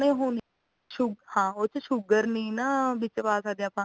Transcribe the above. ਨਹੀਂ ਹੁਣ ਆ ਹਨਾਂ sue ਹਾਂ ਉਹਦੇ ਵਿੱਚ sugar ਨਹੀਂ ਨਾ ਵਿੱਚ ਪਾ ਸਕਦੇ ਆਪਾ